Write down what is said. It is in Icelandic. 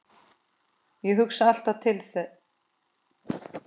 Ég hugsa alltaf til hans.